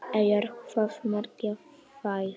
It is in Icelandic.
Eyjar, hvað merkja þær?